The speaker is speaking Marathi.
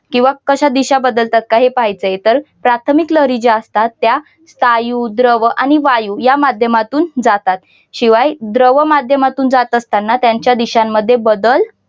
किंवा कशात दिशा बदलता बदलतात का हे पहायचं. तर प्राथमिक लहरी ज्या असतात स्थायू, द्रव आणि वायू या माध्यमातून जातात. शिवाय त्या माध्यमातून जात असताना त्यांच्या दिशांमध्ये बदल